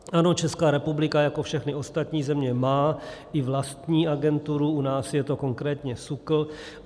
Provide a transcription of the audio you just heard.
Ano, Česká republika jako všechny ostatní země má i vlastní agenturu, u nás je to konkrétně SÚKL.